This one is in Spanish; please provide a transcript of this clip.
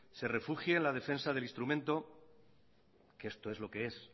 se refugie en la defensa del instrumento que esto es lo que es